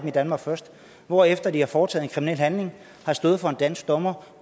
i danmark først hvorefter de har foretaget en kriminel handling har stået for en dansk dommer